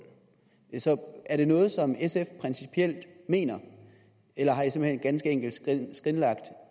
så er det noget som sf principielt mener eller har man ganske enkelt skrinlagt